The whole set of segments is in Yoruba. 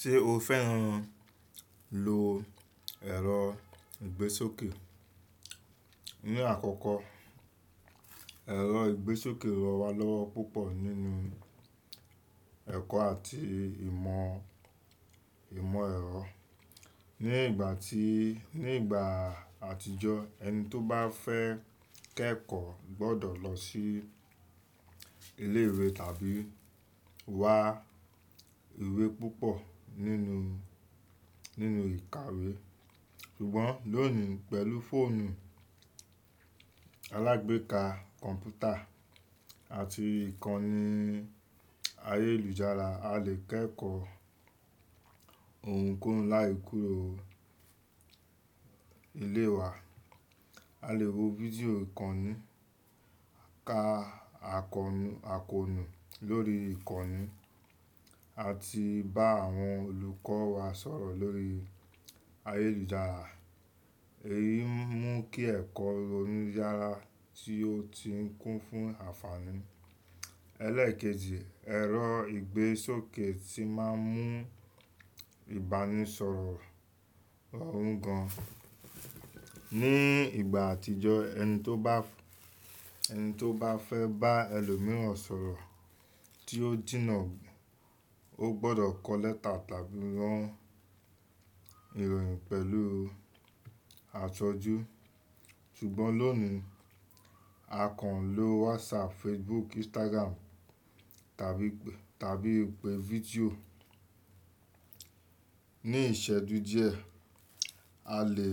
Ṣé o fẹ́ràn lo ẹ̀rọ ìgbésókè? Ni àkọ́kọ́, ẹ̀rọ ìgbésókè rọ wá lọ́wọ́ púpọ̀ nínú ẹ̀kọ́ àti ìmọ̀, ìmọ̀ ẹ̀rọ. Ni ìgbà tí, ní ìgbà àtijọ́ ẹni tó bá fẹ́ kẹ́kọ̀ọ́ gbọ́dọ̀ lọ sí ilé ìwé tàbí wa ìwé púpọ̀ nínú, nínú ìkàwé. Ṣùgbọ́n lónìí pẹ̀lú fóònù alágbèéká kọ̀ǹpútà àti ìkànnì ayélujára a lè kẹ́kọ̀ọ́ ohunkóhun láì kúrò nilé wa. A lè wo fídíò ìkànnì, ka akọ̀nu, akọ̀nu lórí ìkànnì àti bá àwọn olùkọ́ wa sọ̀rọ̀ lórí ayélujára. Èyí ń mú kí ẹ̀kọ́ rorún yára tí ó ti ń kún fún àǹfààní. Ẹlẹ́ẹ̀kejì, ẹ̀rọ ìgbésókè tí má ń mú ìbánisọ̀rọ̀ rọrùn gan. Ni ìgbà àtijọ́ ẹni tó bá, ẹni tó bá fẹ́ bá ẹlòmíràn sọ̀rọ̀ tí ó jìnnà, ó gbọ́dọ̀ kọ lẹ́tà tàbí rán ìròyìn pẹ̀lú aṣojú. Ṣùgbọ́n lónìí a kàn ń lo WhatsApp, Facebook, Instagram tàbí, tàbí ìpè fídíò. Ni ìṣẹ́jú díẹ̀ a lè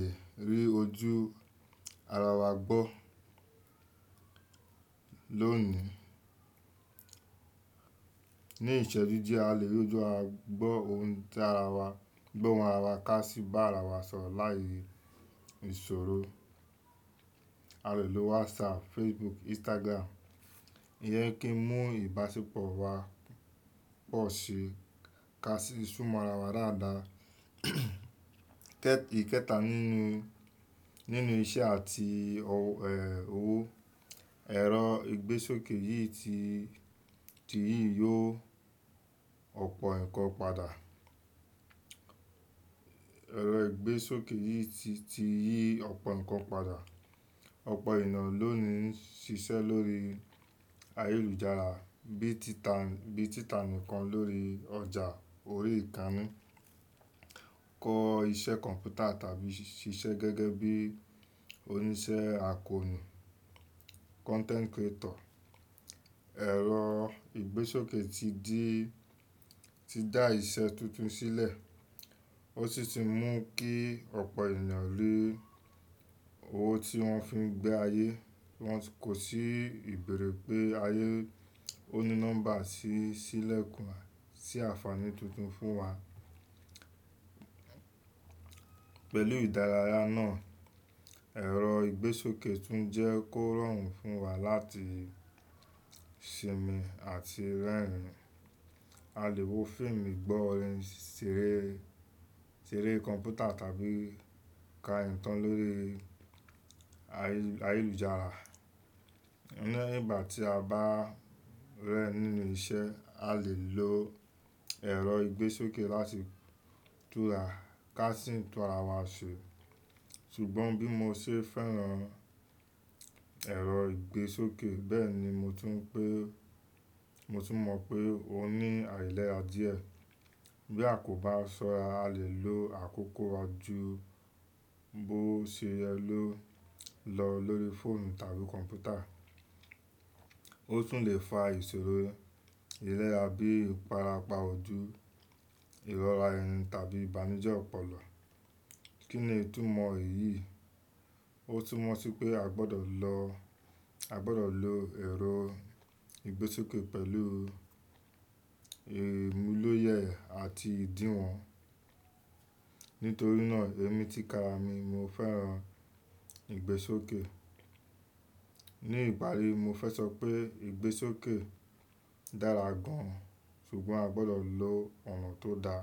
rí ojú ara wa gbọ́. Lónìí, ní ìṣẹ́jú díẹ̀ a lè rí ojú a gbọ́ ohun tí ara wa, gbọ́ ohun ara wa ká sì bá ara wa sọ̀rọ̀ láì si ìṣòro. A lè lo WhatsApp, Facebook, Instagram. Ìyẹ́n kí ń mú ìbáṣepọ̀ wa pọ̀ sí i ká sì súmọ́ ara wa dáadáa. Kẹ́, ìkẹta nínú, nínú iṣẹ́ àti òwò, ẹ̀rọ ìgbésókè yìí ti, ti yí yo ọ̀pọ̀ ǹkan padà. Ẹ̀rọ ìgbésókè yìí ti, ti yí ọ̀pọ̀ ǹkan padà. Ọ̀pọ̀ ènìyàn lónìí ń ṣiṣẹ́ lórí ayélujára bí tita, bí tita nkan lórí ọjà orí-ìkàni, kọ́ iṣẹ́ kọ̀ǹpútà tàbí ṣiṣẹ́ gẹ́gẹ́ bí oníṣẹ́ akọ̀nu content creator. Ẹ̀rọ ìgbésókè ti dí, ti dá iṣẹ́ tuntun sílẹ̀. Ó sì ti ń mú kí ọ̀pọ̀ ènìyàn rí owó tí wọ́n fi ń gbé ayé, wọ́n kò sì bẹ̀erẹ̀ pé ayé ó ní nọ́mbà sí, sí ìlẹ̀kùn, sí àǹfààní tuntun fún wa. Pẹ̀lú ìdáráyà náà ẹ̀rọ ìgbésókè tún jẹ́ kó rọrùn fún wa láti sinmi àti rẹ́rìn. A lè wo fíìmù, gbọ́ orin, ṣeré, ṣeré kọ̀ǹpútà tàbí ka ìtàn lórí ayélujára. Ni ìgbà tí a bá rẹ́ nínú iṣẹ́, a lè lo ẹ̀rọ ìgbésókè láti turaká ka sì tura wa ṣe. Ṣùgbọ́n bí mo ṣe fẹ́ràn ẹ̀rọ ìgbésókè, bẹ́ẹ̀ ni mo tún pé, mo tún mọ̀ pé ó ní àìlèra díẹ̀. Bí a kò bá sọ́ra a lè lo àkókò jú bọ́ ṣe yẹ ló lọ lórí fóònù tàbí kọ̀ǹpútà. Ó tún lè fa ìṣòro ìlera bí ifarapa ojú, ìrọra ẹnu tàbí ìbànújẹ́ ọpọlọ. Kí ni ìtumọ̀ èyí? Ó tún mọ̀ sí pé a gbọ́dọ̀ lọ, a gbọ́dọ̀ lo ẹ̀rọ ìgbésókè pẹ̀lú imulóyè àti ìdíwọ̀n. Nítorí náà èmi ti kara mi mo fẹ́ràn ìgbésókè. Ni ìparí mo fẹ́ sọ pé ìgbésókè dára gan, ṣùgbọ́n a gbọ́dọ̀ lo òna tó da.